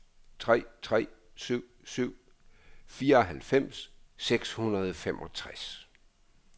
tre tre syv syv fireoghalvfems seks hundrede og femogtres